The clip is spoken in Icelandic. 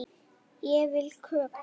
Ég vil kökur.